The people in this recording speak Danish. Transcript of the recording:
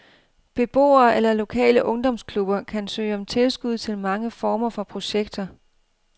Beboere eller lokale ungdomsklubber kan søge om tilskud til mange former for projekter.